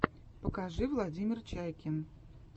покажи владимир чайкин